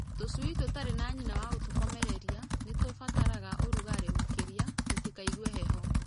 Tũcui tũtarĩ na nyina wagũtũkomereria, nĩtũbataraga ũrugarĩ makĩria tũtikaigue heho.